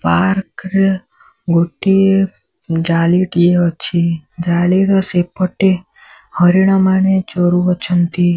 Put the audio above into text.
Park ର ଗୋଟିଏ ଜାଲି ଟିଏ ଅଛି ଜାଲିର ସେପଟେ ହରିଣ ମାନେ ଚରୁ ଅଛନ୍ତି।